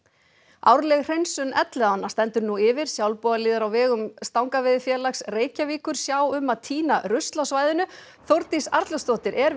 árleg hreinsun Elliðaánna stendur nú yfir sjálfboðaliðar á vegum Stangaveiðifélags Reykjavíkur sjá um að tína rusl á svæðinu Þórdís Arnljótsdóttir er við